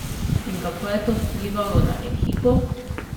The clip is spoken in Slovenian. In kako je to vplivalo na ekipo?